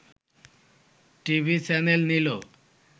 TV channel নিল